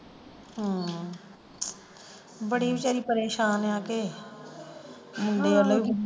ਹਮ ਬੜੀ ਵਿਚਾਰੀ ਪ੍ਰੇਸ਼ਾਨ ਆ ਕੇ ਵੇਖਲੋ।